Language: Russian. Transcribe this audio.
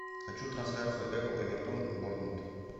хочу трансляцию апл эвертон борнмут